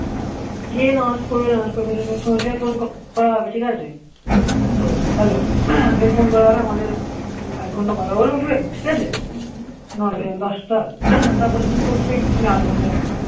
গিয়ে নামাজ পড়বে নামাজ পড়ে পৌঁছে phone করা হবে ঠিক আছে ও hello ফের phone করা হবে আমাদের এক ঘন্টা কথা বলবো ফির ঠিকাছে ন টা থেকে দশ টা তারপরে তুমি পড়বে একটু আধ ঘন্টার মতো